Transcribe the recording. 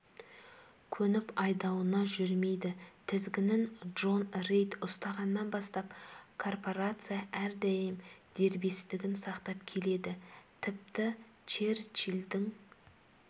көніп айдауына жүрмейді тізгінін джон рейт ұстағаннан бастап корпорация әрдайым дербестігін сақтап келеді тіпті черчильдің